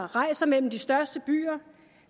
rejser mellem de største byer